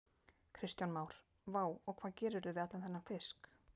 Kristján Már: Vá, og hvað gerirðu við allan þennan fisk?